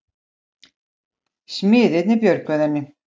Smiðirnir björguðu henni